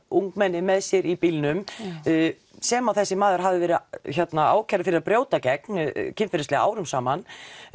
ungmenni með sér í bílnum sem þessi maður hafði verið ákærður fyrir að brjóta gegn kynferðislega árum saman